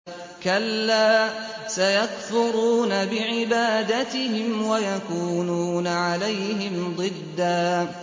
كَلَّا ۚ سَيَكْفُرُونَ بِعِبَادَتِهِمْ وَيَكُونُونَ عَلَيْهِمْ ضِدًّا